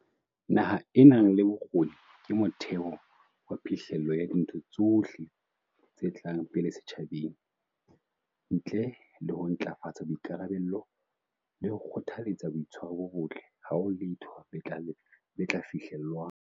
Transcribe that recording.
Naha e nang le bokgoni ke motheo wa phihlello ya dintho tsohle tse tlang pele setjhabeng. Ntle le ho ntlafatsa boikarabello le ho kgothaletsa boitshwaro bo botle, ha ho letho le tla fihlellwang.